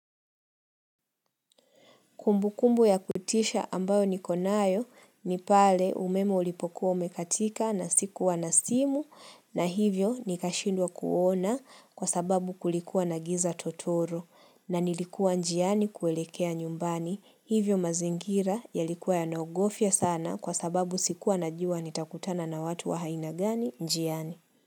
Kumbu kumbu ya kutisha ambayo niko nayo ni pale umeme ulipokuwa umekatika na sikuwa na simu na hivyo nikashindwa kuona kwa sababu kulikuwa na giza totoro na nilikuwa njiani kuelekea nyumbani hivyo mazingira yalikuwa yanaogofya sana kwa sababu sikuwa najua nitakutana na watu wa aina gani njiani.